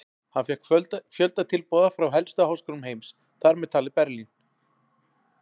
Hann fékk fjölda tilboða frá helstu háskólum heims, þar með talið Berlín.